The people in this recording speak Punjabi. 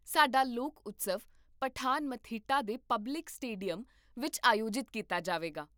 ਸਾਡਾ ਲੋਕ ਉਤਸਵ ਪਠਾਨਮਥਿੱਟਾ ਦੇ ਪਬਲਿਕ ਸਟੇਡੀਅਮ ਵਿੱਚ ਆਯੋਜਿਤ ਕੀਤਾ ਜਾਵੇਗਾ